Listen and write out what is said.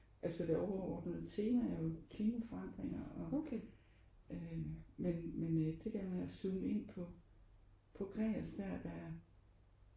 Altså det overordnede tema er jo klimaforandringer og øh men men det der man har zoomet ind på på Gregers der det er